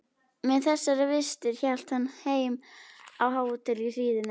Með þessar vistir hélt hann heim á hótel í hríðinni.